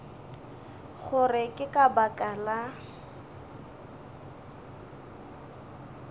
gore ke ka baka la